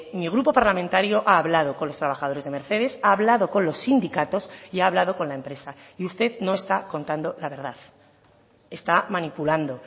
mi grupo parlamentario ha hablado con los trabajadores de mercedes ha hablado con los sindicatos y ha hablado con la empresa y usted no está contando la verdad está manipulando